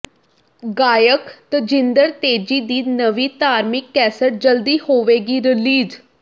ਗਾਇਕ ਤਜਿੰਦਰ ਤੇਜੀ ਦੀ ਨਵੀਂ ਧਾਰਮਿਕ ਕੈਸੇਟ ਜਲਦੀ ਹੋਵੇਗੀ ਰਿਲੀਜ਼